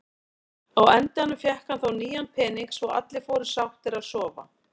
Á endanum fékk hann þó nýjan pening svo allir fóru sáttir að sofa.